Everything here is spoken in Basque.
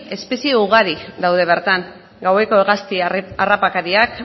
espezie ugari daude bertan gaueko hegazti harrapakariak